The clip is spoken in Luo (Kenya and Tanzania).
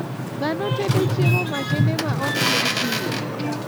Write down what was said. Dhano tedo chiemo makende ma ok ted pile.